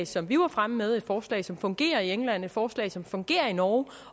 som vi var fremme med et forslag som fungerer i england et forslag som fungerer i norge